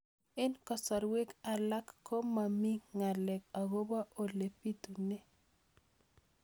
Eng' kasarwek alak ko mami ng'alek akopo ole pitunee